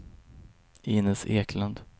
Inez Eklund